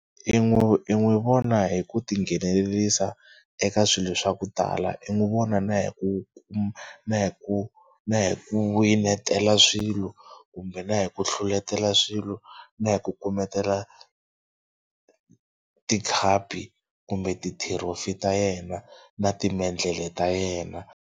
I n'wi i n'wi vona hi ku tinghenelerisa eka swilo swa ku tala. I n'wi vona na hi ku na hi ku na hi ku winetela swilo kumbe na hi ku hluletela swilo na hi ku kumela tikhapi kumbe ti-trophy ta yena na timendlele ta yena.